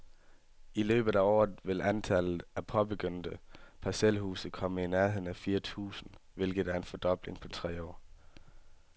I løbet af året vil antallet af påbegyndte parcelhuse komme op i nærheden af fire tusind, hvilket er en fordobling på tre år.